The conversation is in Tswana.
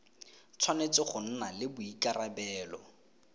tshwanetse go nna le boikarabelo